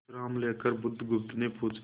विश्राम लेकर बुधगुप्त ने पूछा